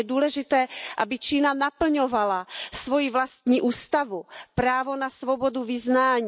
Je důležité, aby Čína naplňovala svoji vlastní ústavu, právo na svobodu vyznání.